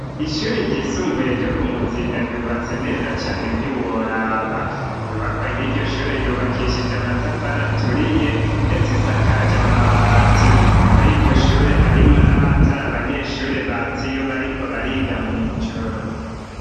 Ishuri ryisumbuye ryo ku Muzinda ryubatse neza cane ntiworaba, inyubakwa yiryo shure yubakishije amatafari aturiye ndetse isakaje amabati, muri iryo shure harimwo n'amatara abanyeshure batsa iyo bariko bariga mw'ijoro.